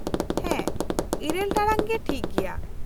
- ᱦᱮᱸ, ᱤᱨᱟᱹᱞ ᱴᱟᱲᱟᱝ ᱜᱮ ᱴᱷᱤᱠ ᱜᱮᱭᱟ ᱾